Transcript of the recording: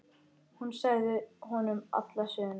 Hún sagði honum alla söguna.